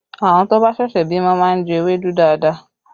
Àwọn tó bá ṣẹ̀ṣẹ̀ bímọ máa ń jẹ ewédú dáadáa